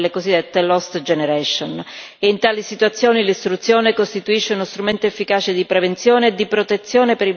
costituisce uno strumento efficace di prevenzione e di protezione per i bambini, con effetti positivi per il lungo periodo per sviluppare resilienza.